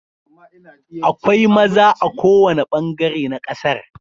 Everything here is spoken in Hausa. Akwai maza a kowane bangare na kasar.